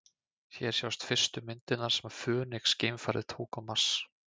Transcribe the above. Hér sjást fyrstu myndirnar sem Fönix-geimfarið tók á Mars.